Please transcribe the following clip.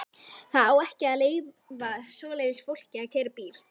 Það á ekki að leyfa svoleiðis fólki að keyra bíl!